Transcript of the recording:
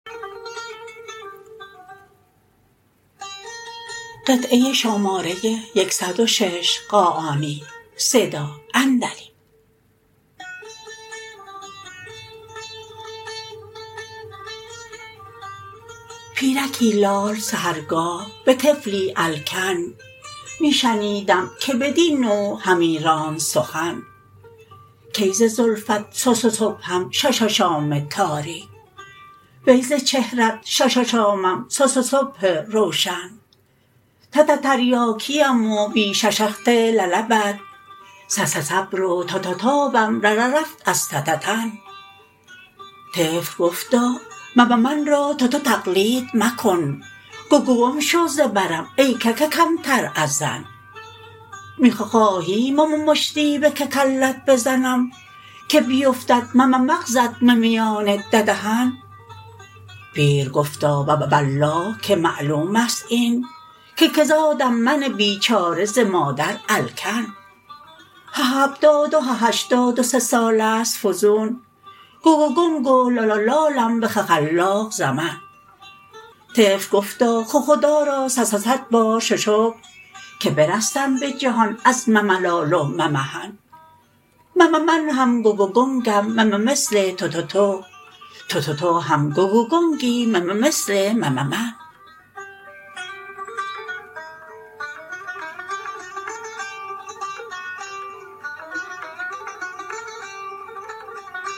پیرکی لال سحرگاه به طفلی الکن می شنیدم که بدین نوع همی راند سخن کای ز زلفت صصصبحم شاشاشام تاریک وی ز چهرت شاشاشامم صصصبح روشن تتتریاکیم و بی شششهد للبت صصصبر و تاتاتابم رررفت از تتتن طفل گفتا مممن را تتو تقلید مکن گگگم شو ز برم ای کککمتر از زن می خخواهی مممشتی به ککلت بزنم که بیفتد مممغزت ممیان ددهن پیر گفتا وووالله که معلومست این که که زادم من بیچاره ز مادر الکن هههفتاد و ههشتاد و سه سالست فزون گگگنگ و لالالالم به خخلاق زمن طفل گفتا خخدا را صصصدبار ششکر که برستم به جهان از مملال و ممحن مممن هم گگگنگم مممثل تتتو تتتو هم گگگنگی مممثل مممن